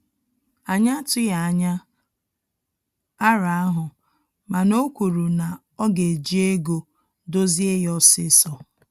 Anyị atughi anya arọ ahụ, mana o kwuru na oga eji ego dozie ya osisọ